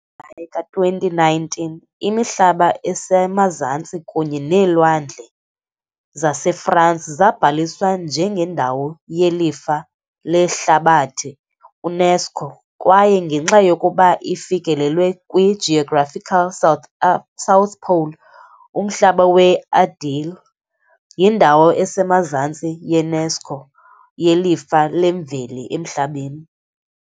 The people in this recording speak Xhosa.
Julayi ka-2019, iMihlaba esemaZantsi kunye neeLwandle zaseFransi zabhaliswa njengendawo yelifa lehlabathi UNESCO kwaye, ngenxa yokuba ifikelele kwi- geographical South Pole, umhlaba we-Adelie, yindawo esemazantsi ye-UNESCO yelifa lemveli emhlabeni.